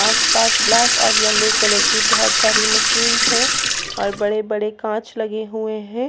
आस-पास ब्लैक और yellow colour की बहुत सारी मशीन्स हैं और बड़े-बड़े कांच लगे हुए है।